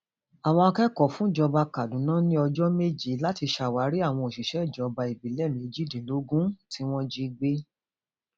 àwọn akẹkọọ fúnjọba kaduna ní ọjọ méje láti ṣàwárí àwọn òṣìṣẹ ìjọba ìbílẹ méjìdínlógún tí wọn jí gbé